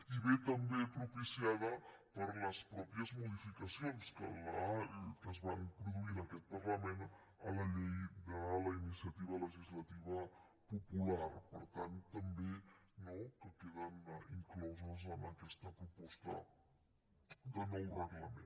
i ve també propiciada per les mateixes modificacions que es van produir en aquest parlament a la llei de la iniciativa legislativa popular per tant també no que queden incloses en aquesta proposta de nou reglament